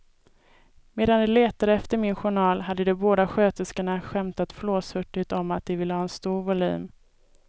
Medan de letade efter min journal hade de båda sköterskorna skämtat flåshurtigt om att de ville ha en stor volym.